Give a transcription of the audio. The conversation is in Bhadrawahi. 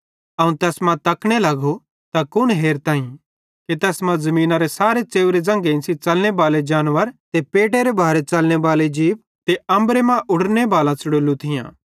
अवं तैस मां तकने लगो त कुन हेरताईं कि तैस मां ज़मीनरे सारे च़ेव्रे ज़ंघेइं च़लने बाले जानवर ते पेटेरे भारे च़लने बाले जीप ते अम्बरे मां उडरने बालां च़ुड़ोलू थियां